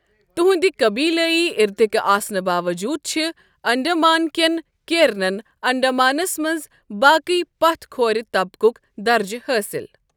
تہنٛدِ قبیلٲیی اِرتِكہٕ آسنہٕ باووٚجوٗد چھِ انڈیمانٕ كین کیرنن انڈمانس منٛز باقٕیے پَتھ کھورِطَبقک درجہٕ حٲصِل ۔